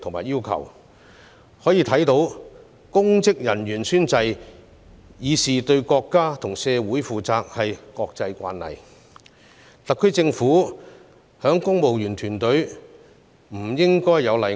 由此可見，公職人員宣誓以示對國家和社會負責，已成為國際慣例，特區政府的公務員團隊不應有例外。